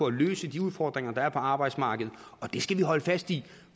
at løse de udfordringer der er på arbejdsmarkedet og det skal vi holde fast i